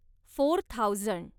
four thousand